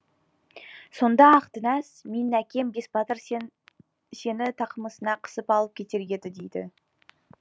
сонда ақ дінәс менің әкем бесбатыр сені тақымына қысып алып кетер еді дейді